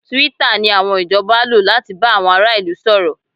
Twitter ni àwọn ìjọba lò láti bá àwọn ará ìlú sọ̀rọ̀